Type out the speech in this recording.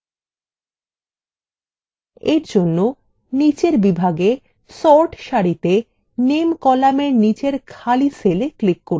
এরজন্য নিচের বিভাগে sort সারিতে name কলামের নিচের খালি cell click করুন